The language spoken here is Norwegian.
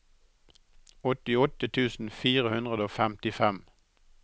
åttiåtte tusen fire hundre og femtifem